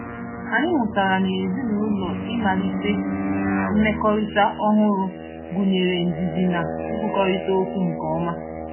Anyị mụtara na ezinụụlọ ịmalite mmekọrịta ọhụrụ gụnyere ndidi na ikwukọrịta okwu nke ọma.